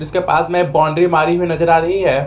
के पास में बाउंड्री मारी हुई नजर आ रही है।